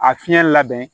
A fiɲɛ labɛn